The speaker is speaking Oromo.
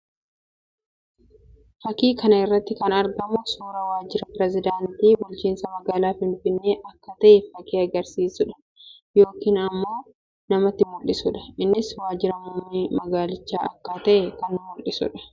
Fakkii kana irratti kan argamu suuraa waajjira pirezidaantii bulchiinsa magaalaa Finfinnee akka ta'e fakkii agarsiisuu dha yookiin immoo namatti mul'isuu dha. Innis waajjira muummee magaalichaa akka ta'e kan mullisuu dha.